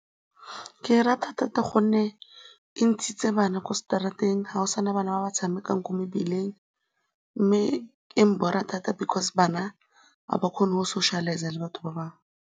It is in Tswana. Ke e rata thata gonne e ntshitse bana kwa straat-eng, ga go sa na bana ba ba tshamekang kwa mebileng mme e mbora thata because bana ga ba kgone go socialise-a le batho ba bangwe.